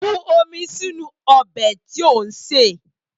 Bu omi sínú ọbẹ̀ tí ò ń sè!